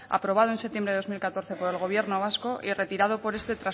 aprobado en septiembre de dos mil catorce por el gobierno vasco y retirado por este